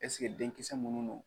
Ɛseke denkisɛ minnu don